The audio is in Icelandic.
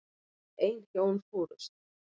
Ein hjón fórust.